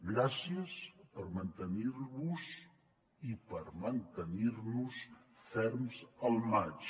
gràcies per mantenir vos i per mantenir nos ferms al maig